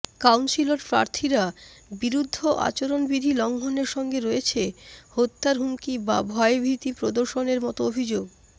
councillor প্রার্থীরা বিরুদ্ধে আচরণবিধি লঙ্ঘনের সঙ্গে রয়েছে হত্যার হুমকি বা ভয়ভীতি প্রদর্শনের মতো অভিযোগ